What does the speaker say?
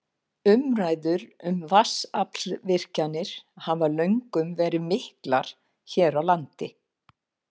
Umræður um vatnsaflsvirkjanir hafa löngum verið miklar hér á landi.